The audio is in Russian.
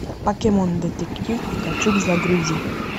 покемон детектив пикачу загрузи